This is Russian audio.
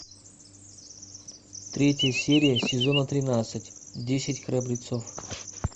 третья серия сезона тринадцать десять храбрецов